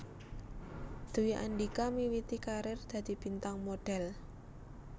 Dwi Andhika miwiti karir dadi bintang modhél